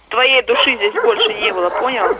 твоей души здесь больше не было понял